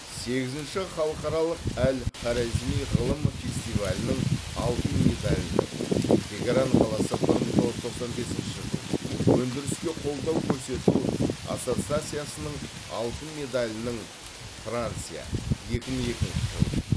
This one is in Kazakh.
сегізінші халықаралық әл хорезми ғылым фестивалінің алтын медалінің тегеран қаласы бір мың тоғыз жүз тоқсан бесінші жыл өндіріске қолдау көрсету ассоциациясының алтын медалінің франция екі мың екінші жыл